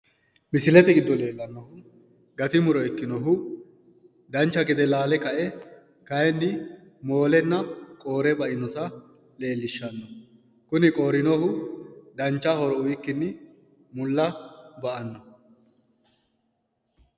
misilete giddo leellanno gati muro ikkinohu dancha gede laale kae kayiinni moolenna qoore bainota leellishshanno kuni qoorinohu dancha horo uyiikkinni mulla ba'anno laalo.